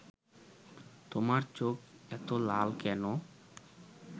তোমার চোখ এতো লাল কেন